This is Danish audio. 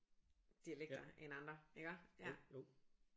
Dialekter end andre iggå ja